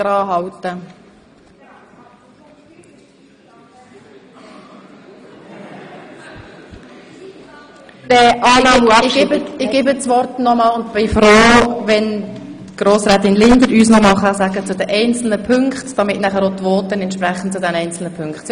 Ich gebe Frau Grossrätin Linder nochmals kurz das Wort und bin froh, wenn sie uns noch einmal ihre Haltung dazu bekannt gibt, wie die einzelnen Punkte – auch hinsichtlich der Abschreibung – behandelt werden sollen.